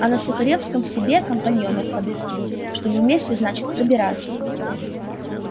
а на сухаревской себе компаньонов подыскивают чтобы вместе значит пробираться